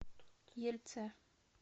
ельце